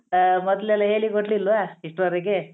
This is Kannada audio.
ಅ ಮೊದ್ಲೆಲ್ಲ ಹೇಳಿ ಕೊಡ್ಲಿಲ್ವಾ ಇಷ್ರೊರೆಗೆ?